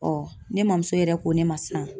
ne mamuso yɛrɛ ko ne ma sisan